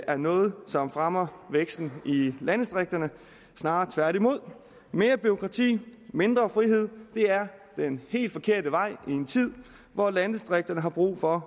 er noget som fremmer væksten i landdistrikterne snarere tværtimod mere bureaukrati og mindre frihed er den helt forkerte vej i en tid hvor landdistrikterne har brug for